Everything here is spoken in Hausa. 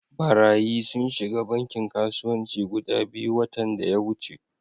Barayyi sun shiga bankin kasuwanci guda biyu watan daya wuce.